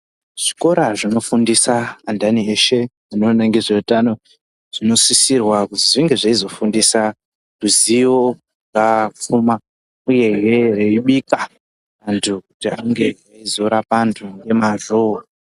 Zvikora zvinofundisa andani eshe zvino ningise utano zvinosisirwa kuzi zvinge zveizofundisa ruzivo papfuma uyehe veibika kuita antu ange eizorapa antu ngemwazvo.